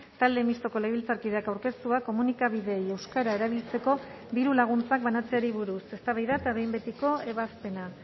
talde mistoko legebiltzarkideak aurkeztua komunikabideei euskara erabiltzeko dirulaguntzak banatzeari buruz eztabaida eta behin betiko ebazpena